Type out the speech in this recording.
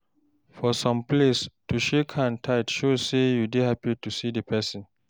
For some place, to shake hand tight show sey you happy to see di pesin.